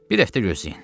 Bir həftə gözləyin.